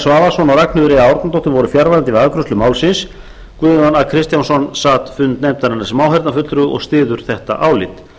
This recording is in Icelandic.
svavarsson og ragnheiður e árnadóttir voru fjarverandi við afgreiðslu málsins guðjón a kristjánsson sat fund nefndarinnar sem áheyrnarfulltrúi og styður þetta álit